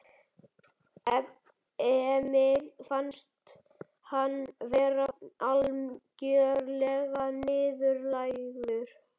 Emil fannst hann vera algjörlega niðurlægður.